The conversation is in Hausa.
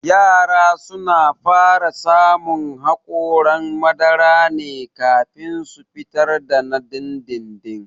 Yara suna fara samun haƙoran madara ne kafin su fitar da na dindindin